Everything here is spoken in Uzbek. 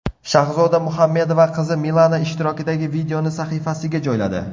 Shahzoda Muhammedova qizi Milana ishtirokidagi videoni sahifasiga joyladi.